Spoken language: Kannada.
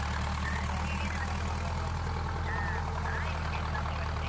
ಸರಿ ಬರುವ ಬರುವ ಹಾ ಆಯ್ತು ಖಂಡಿತ ಬರ್ತೇವೆ.